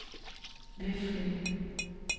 Veflinge